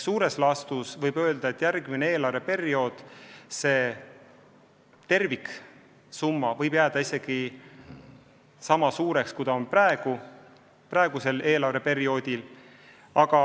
Laias laastus võib öelda, et järgmisel eelarveperioodil saadav terviksumma võib jääda isegi sama suureks, kui see on praegusel eelarveperioodil.